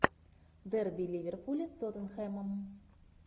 дерби ливерпуля с тоттенхэмом